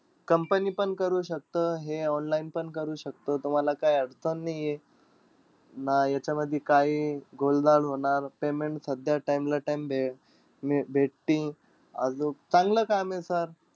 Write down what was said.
Company पण करू शकतं. हे online पण करू शकतं. तुम्हाला काही अडचण नाहीये. ना याच्यामधी काई गोलढाल होणार payment सध्या time ला time भे अं भेटतील. आजूक, चांगलं काम हे sir.